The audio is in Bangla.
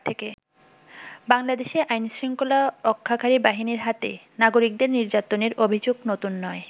বাংলাদেশে আইন শৃঙ্খলা রক্ষাকারী বাহিনীর হাতে নাগরিকদের নির্যাতনের অভিযোগ নতুন নয়।